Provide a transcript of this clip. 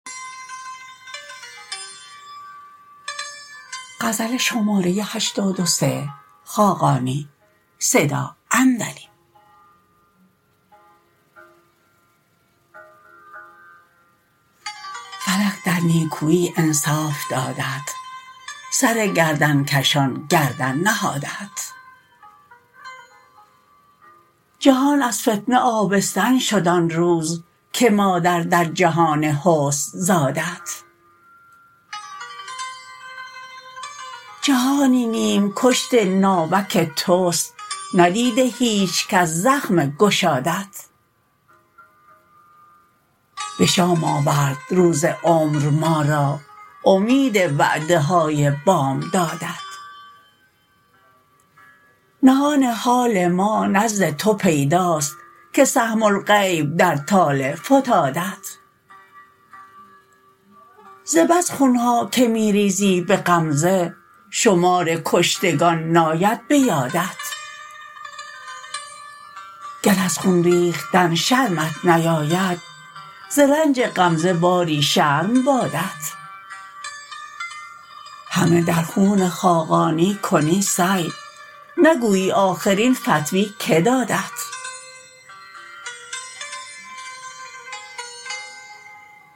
فلک در نیکویی انصاف دادت سر گردن کشان گردن نهادت جهان از فتنه آبستن شد آن روز که مادر در جهان حسن زادت جهانی نیم کشت ناوک توست ندیده هیچ کس زخم گشادت به شام آورد روز عمر ما را امید وعده های بامدادت نهان حال ما نزد تو پیداست که سهم الغیب در طالع فتادت ز بس خون ها که می ریزی به غمزه شمار کشتگان ناید به یادت گر از خون ریختن شرمت نیاید ز رنج غمزه باری شرم بادت همه در خون خاقانی کنی سعی نگویی آخر این فتوی که دادت